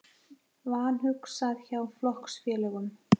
Vanhugsað hjá flokksfélögum